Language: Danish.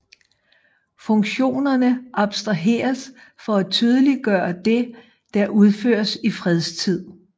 Funktionerne abstraheres for at tydeliggøre det der udføres i fredstid